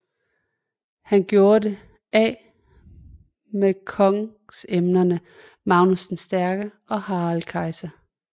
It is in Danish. Han gjorde det af med kongsemnerne Magnus den Stærke og Harald Kesja